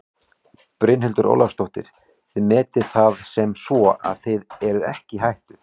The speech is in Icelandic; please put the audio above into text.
Brynhildur Ólafsdóttir: Þið metið það sem svo að þið séuð ekki í hættu?